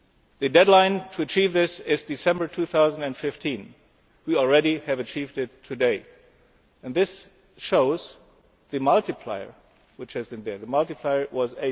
The deadline for achieving this is December 2015. We have already achieved it today, and this shows the multiplier which has been there the multiplier was